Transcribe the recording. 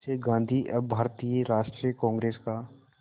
से गांधी अब भारतीय राष्ट्रीय कांग्रेस का